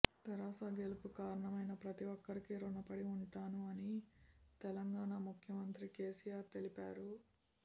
తెరాస గెలుపు కారణమైన ప్రతి ఒక్కరికి రుణపడి ఉంటాను అని తెలంగాణా ముఖ్యమంత్రి కేసిఆర్ తెలిపారు